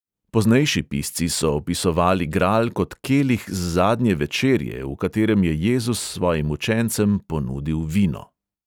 Poznejši pisci so opisovali gral kot kelih z zadnje večerje, v katerem je jezus svojim učencem ponudil vino.